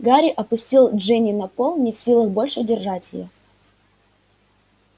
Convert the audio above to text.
гарри опустил джинни на пол не в силах больше держать её